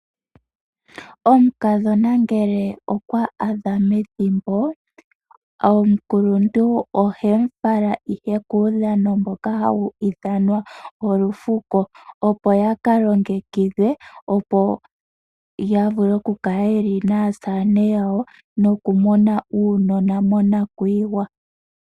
Omukadhona ngele okwa adha methimbo, Omukuluntu ohe mu tsaka ihe kuudhano mbono hawu ithanwa olufuko ,Opo ya kalongikidhwe opo ya vule oku kala yeli naasamene yawo noku mona uunona monakwiiyiwa.